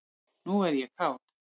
Nú er ég kát.